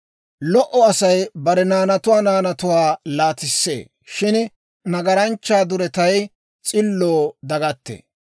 Lo"o Asay bare naanatuwaa naanatuwaa laatissee; shin nagaranchchaa duretay s'illoo dagattee.